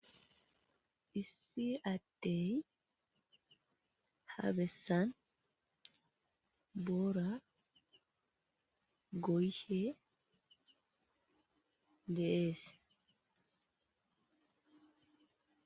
Issi goshshanchay boorazan fadeza goyishe bettesi.